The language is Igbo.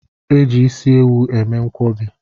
E ji isi ewu eme nkwọbi